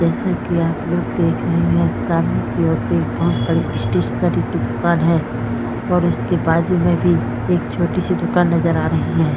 जैसा कि आप लोग देख रहे है सामने की ओर एक बहुत बड़ी स्टेशनरी की दुकान है और उसके बाजू में भी एक छोटी सी दुकान नजर आ रही है।